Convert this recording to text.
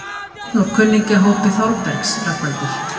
Einn úr kunningjahópi Þórbergs, Rögnvaldur